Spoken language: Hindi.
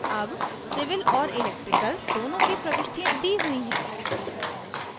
अब civil और electrical दोनों की प्रविष्टियाँ दी हुई हैं